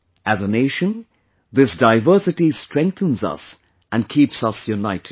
As a nation this diversity strengthens us and keeps us united